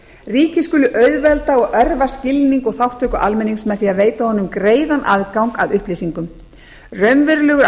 ríkið skuli auðvelda og örva skilning og þátttöku almennings með því að veita honum greiðan aðgang að upplýsingum raunverulegur